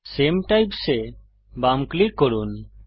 সামে types এ বাম click করুন